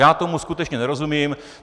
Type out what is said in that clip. Já tomu skutečně nerozumím.